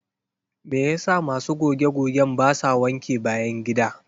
Me yasa masu goge-gogen basa wanke bayan gida?